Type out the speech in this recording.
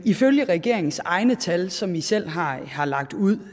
ifølge regeringens egne tal som i selv har har lagt ud